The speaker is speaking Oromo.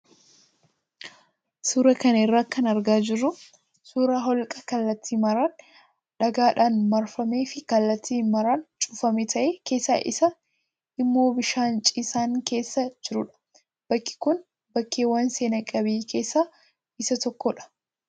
Suuraa kana irraa kan argaa jirru suuraa holqa kallattii maraan dhagaadhaan marfamee fi kallattii maraan cufamaa ta'ee keessa isaa immoo bishaan ciisaan keessa jirudha. Bakki kun bakkeewwan seena qabeeyyii keessaa isa tokkodha.